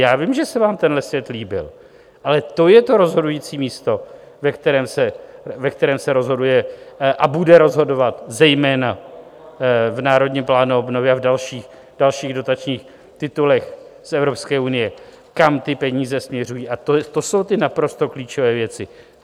Já vím, že se vám tenhle svět líbil, ale to je to rozhodující místo, ve kterém se rozhoduje a bude rozhodovat, zejména v Národním plánu obnovy a v dalších dotačních titulech z EU, kam ty peníze směřují, a to jsou ty naprosto klíčové věci.